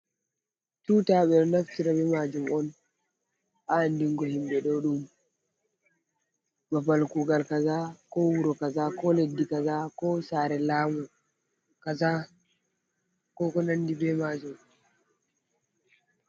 Tuta: Ɓeɗo naftira be majum on ha andingo himɓe ɗo ɗum babal kugal kaza, ko wuro kaza, ko leddi kaza, ko sare lamu kaza, ko konandi be majum.